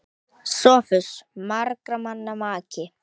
SOPHUS: Margra manna maki!